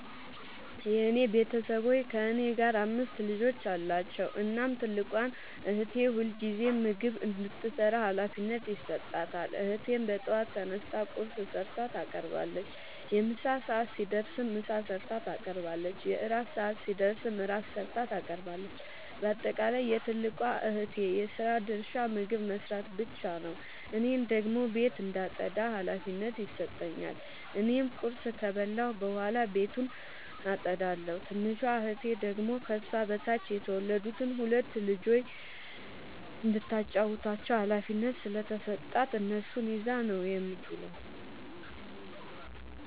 የኔ ቤተሠቦይ ከእኔ ጋር አምስት ልጆች አሏቸዉ። እናም ትልቋን እህቴ ሁልጊዜም ምግብ እንድትሰራ ሀላፊነት ይሠጣታል። እህቴም በጠዋት ተነስታ ቁርስ ሠርታ ታቀርባለች። የምሣ ሰዓት ሲደርስም ምሳ ሠርታ ታቀርባለች። የእራት ሰዓት ሲደርስም ራት ሠርታ ታቀርባለች። ባጠቃለይ የትልቋ እህቴ የስራ ድርሻ ምግብ መስራት ብቻ ነዉ። እኔን ደግሞ ቤት እንዳጠዳ ሀላፊነት ይሠጠኛል። እኔም ቁርስ ከበላሁ በኃላ ቤቱን አጠዳለሁ። ትንሿ እህቴ ደግሞ ከሷ በታች የተወለዱትን ሁለት ልጆይ እንዳታጫዉታቸዉ ሀላፊነት ስለተሠጣት እነሱን ይዛ ነዉ የምትዉለዉ።